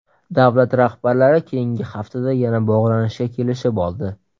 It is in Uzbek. Davlat rahbarlari keyingi haftada yana bog‘lanishga kelishib oldi.